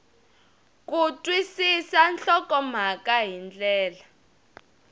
ku twisisa nhlokomhaka hi ndlela